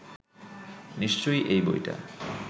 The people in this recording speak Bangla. নিশ্চয়ই এই বইটা